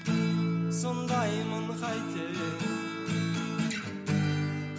сондаймын қайтейін